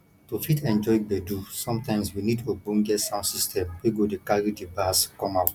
to fit enjoy gbedu sometimes we need ogbonge sound system wey go dey carry di bass come out